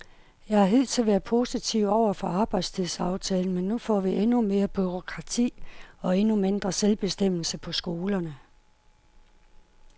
Jeg har hidtil været positiv over for arbejdstidsaftalen, men nu får vi endnu mere bureaukrati og endnu mindre selvbestemmelse på skolerne.